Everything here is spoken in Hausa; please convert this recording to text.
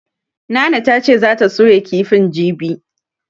Nana ta ce zata soya kifin jibi.